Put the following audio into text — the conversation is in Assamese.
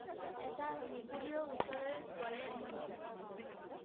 এটা মেকুৰিও উচৰেৰে গলে মই গম পাও সব